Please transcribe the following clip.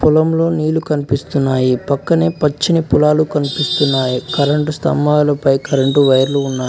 పొలంలో నీళ్లు కనిపిస్తున్నాయి పక్కనే పచ్చని పొలాలు కనిపిస్తున్నాయి కరెంటు స్తంభాలు పై కరెంటు వైర్లు ఉన్నాయి.